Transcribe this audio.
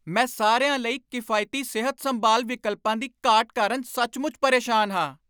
ਮੈਂ ਸਾਰਿਆਂ ਲਈ ਕਿਫਾਇਤੀ ਸਿਹਤ ਸੰਭਾਲ ਵਿਕਲਪਾਂ ਦੀ ਘਾਟ ਕਾਰਨ ਸੱਚਮੁੱਚ ਪਰੇਸ਼ਾਨ ਹਾਂ।